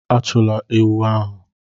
Achụla ewu ahụ n'àjà!